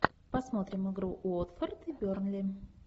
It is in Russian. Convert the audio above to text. посмотрим игру уотфорд и бернли